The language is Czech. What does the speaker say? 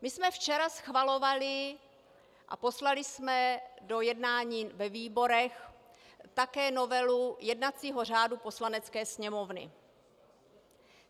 My jsme včera schvalovali a poslali jsme do jednání ve výborech také novelu jednacího řádu Poslanecké sněmovny.